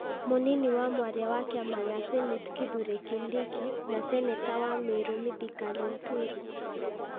Mũnini wa mwaria wa kĩama kĩa Senate Kithure Kindiki na Seneta wa Merũ Mithika Linturi.